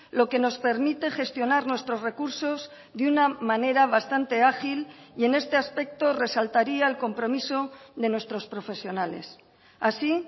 lo que nos permite gestionar nuestros recursos de una manera bastante ágil y en este aspecto resaltaría el compromiso de nuestros profesionales así